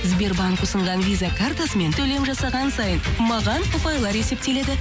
сбербанк ұсынған виза картасымен төлем жасаған сайын маған ұпайлар есептеледі